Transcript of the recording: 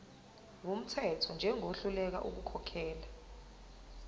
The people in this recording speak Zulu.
wumthetho njengohluleka ukukhokhela